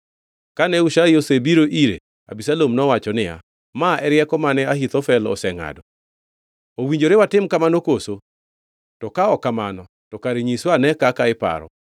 Kane Hushai osebiro ire, Abisalom nowacho niya, “Ma e rieko mane Ahithofel osengʼado. Owinjore watim kamano koso? To ka ok kamano to kare nyiswa ane kaka iparo.”